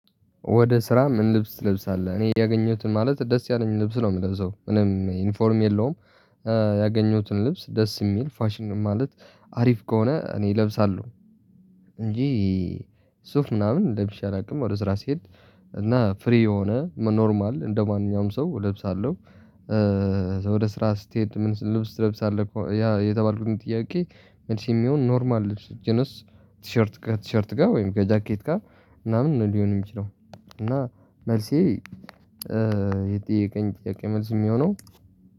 ወደ ስራ ምን ልብስ ተልብሳለህ እኔ ያገኘሁትን ማለት ደስ ያለኝን ልብስ ነው የምለብሰው ምንም ኢንፎርም የለውም። ያገኘሁትን ልብስ ደስ የሚል ፋሽን ማለት አሪፍ ከሆነ እኔ እለብሳለሁ። እንጂ ሱፍ ምናምን ለብሼ አላውቅም። ወደ ስራ ስሄድ እና ፍሪ የሆነ ኖርማል እንደማንኛውም ሰው እለብሳለሁ። ወደ ስራ ስትሄድ ምን ልብስ ተለብሳለህ? አለ ያ የተባልኩትን ጥያቄ መልሴ የሚሆን ኖርማል ልብስ ጅንስ ቲሸርት ጋር ቲሸርት ጋር ወይም ከ ጃኬት ጋር ምናምን ነው ሊሆን የሚችለው። እና መልሴ። የጠየቀኝ ጥያቄ መልስ የሚሆነው